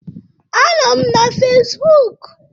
Anọ m na Fezbụk.